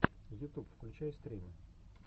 ютуб включай стримы